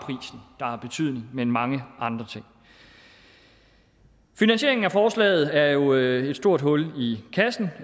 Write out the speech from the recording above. er har betydning men mange andre ting finansieringen af forslaget er jo et stort hul i kassen